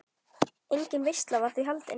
Engin veisla var því haldin.